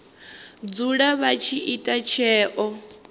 dzula vha tshi ita tsheo